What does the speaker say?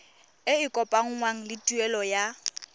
e kopanngwang le tuelo ya